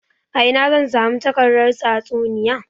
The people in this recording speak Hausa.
A ina zan samu takardar tatsuniya?